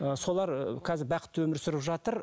ы солар ыыы қазір бақытты өмір сүріп жатыр